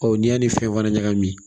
Ɔ n'i y'a ni fɛn fana ɲagami